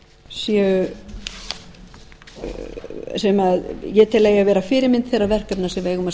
sem ég tel að eigi að vera fyrirmynd þeirra verkefna sem við eigum að